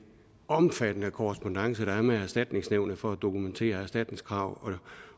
omfattende korrespondance der er med erstatningsnævnet for at dokumentere erstatningskrav